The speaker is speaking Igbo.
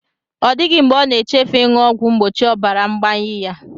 Ọ dịghị mgbe ọ na-echefu ịṅụ ọgwụ mgbochi ọbara ngbayi ya